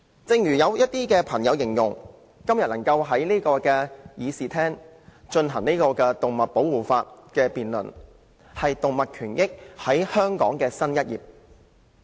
正如一些朋友形容，今天能在議事廳就保護動物的法例進行辯論，為香港的動物權益揭開新一頁。